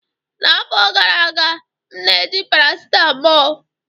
N'afọ gara aga, m na-eji paracetamol